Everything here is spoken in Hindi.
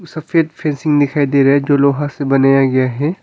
सफेद फेसिंग दिखाई दे रहे जो लोहा से बनाया गया है।